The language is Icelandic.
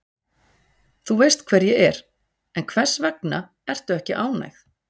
Þú veist hver ég er, en hvers vegna ertu ekki ánægð?